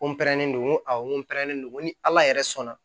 Ko pɛrɛnnen don ko awɔ n ko n pɛrɛnnen don ni ala yɛrɛ sɔnna